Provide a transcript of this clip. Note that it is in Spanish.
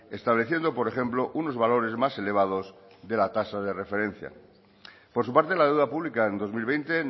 estableciendo por ejemplo unos valores más elevados de la tasa de referencia por su parte la deuda pública en dos mil veinte